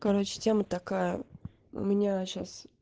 короче тема такая у меня сейчас